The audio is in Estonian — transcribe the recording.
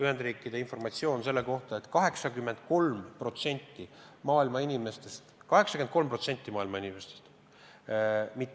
Ühendriigid jagasid informatsiooni selle kohta, et 83% maailma inimestest – 83% maailma inimestest!